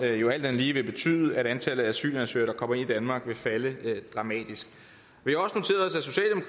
jo alt andet lige vil betyde at antallet af asylansøgere der kommer ind i danmark vil falde dramatisk vi